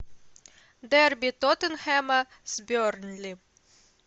дерби тоттенхэма с бернли